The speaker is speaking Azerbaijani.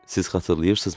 Siz xatırlayırsızmı?